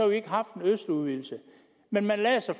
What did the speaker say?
vi ikke haft en østudvidelse men man lagde sig